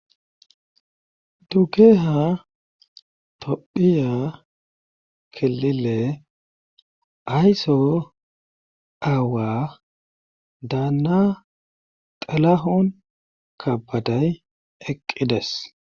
Dukeeha tophiya kelile ayso aawa daanna talahon kabaday eqqides